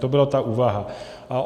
To byla ta úvaha.